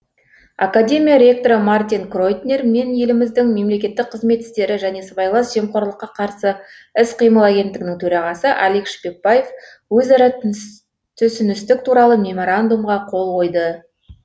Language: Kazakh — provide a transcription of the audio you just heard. академия ректоры мартин кройтнер мен еліміздің мемлекеттік қызмет істері және сыбайлас жемқорлыққа қарсы іс қимыл агенттігінің төрағасы алик шпекбаев өзара түсіністік туралы меморандумқа қол қойды